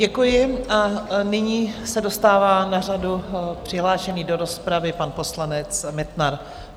Děkuji a nyní se dostává na řadu přihlášený do rozpravy pan poslanec Metnar.